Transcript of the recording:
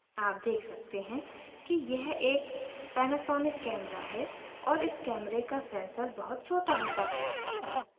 आप देख सकते हैं कि यह एक panasonic camera है और इस camera का sensor बहुत छोटा होता है